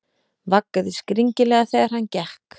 Vaggaði skringilega þegar hann gekk.